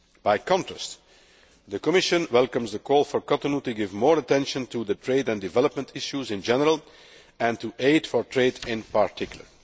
By contrast, the Commission welcomes the call for Cotonou to give more attention to the trade and development issues in general, and to aid for trade in particular.